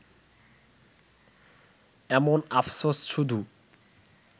এমন আফসোস শুধু